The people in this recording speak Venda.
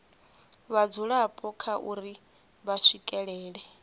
vhadzulapo kha uri vha swikelela